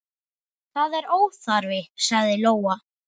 Það er óþarfi, sagði Lóa.